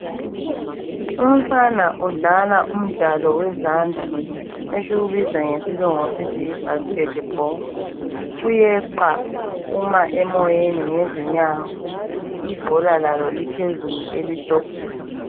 Umfana udlala umdlalo wezandla esiwubiza ngesilungu sithi yibasketball. Uyeqa uma emoyeni ngezinyawo ibhola lalo liphezulu elihlohlela.